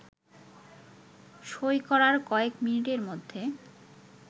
সই করার কয়েক মিনিটের মধ্যে